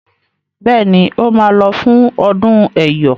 Béèni o má ló fún ọdún eyọ.